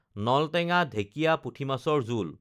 নলটেঙা ঢেঁকিয়া পুঠি মাছৰ জোল